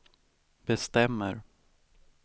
bestämmer